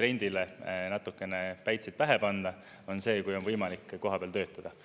trendile natukene päitseid pähe panna, on see, kui on võimalik kohapeal töötada.